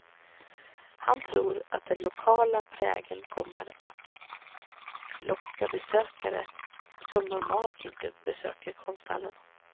Han tror att den lokala prägeln kommer att locka besökare som normalt inte besöker konsthallen.